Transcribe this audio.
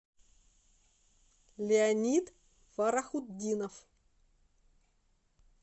леонид фарахутдинов